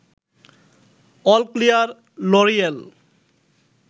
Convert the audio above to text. all clear, L'Oréal